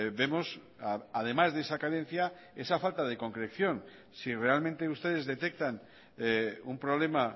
vemos además de esa carencia esa falta de concreción si realmente ustedes detectan un problema